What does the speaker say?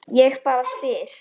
Ég bara spyr.